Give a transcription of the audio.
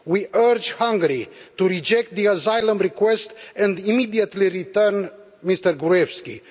We urge Hungary to reject the asylum request and immediately return Mr Gruevski.